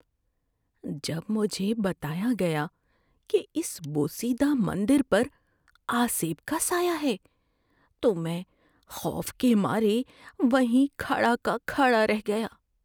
‏جب مجھے بتایا گیا کہ اس بوسیدہ مندر پر آسیب کا سایہ ہے تو میں خوف کے مارے وہیں کھڑا کہ کھڑا رہ گیا۔